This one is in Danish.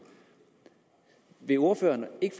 vil ordføreren ikke